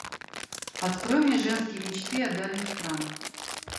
открой мне женские мечты о дальних странах